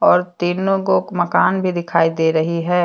और तीनो गोक मकान भी दिखाई दे रही है।